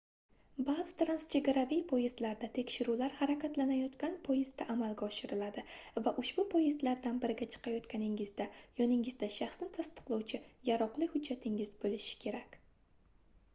baʼzi transchegaraviy poyezdlarda tekshiruvlar harakatlanayotgan poyezdda amalga oshiriladi va ushbu poyezdlardan biriga chiqayotganingizda yoningizda shaxsni tasdiqlovchi yaroqli hujjatingiz boʻlishi kerak